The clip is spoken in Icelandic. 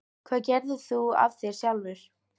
Hvað gerðir þú af þér sjálfur?